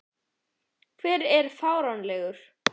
Hver er fáanlegur?